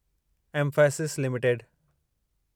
Mphasis limited